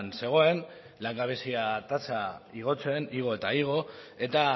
zegoen langabezia tasa igotzen igo eta igo eta